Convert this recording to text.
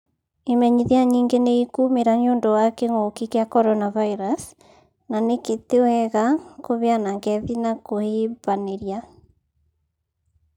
Imenyithia nyĩngĩ nĩ ikumĩra nĩundu wa gĩkungi kia CoronaVirus na nĩkĩ tĩ wega kubeana ngethi na kũhìbanĩria